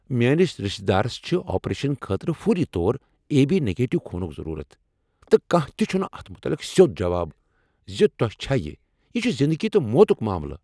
میٲنس رشتہ دارس چھ آپریشنہٕ خٲطرٕ فوری طور آے بی نگیٹِیو خونک ضرورت، تہٕ کانہہ تہ چھنہٕ اتھ متعلق سیود جواب زِ تۄہہ چھا یہ، یہِ چُھ زندگی تہٕ موتک ماملہٕ۔